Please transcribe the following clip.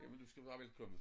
Jamen du skal være velkommen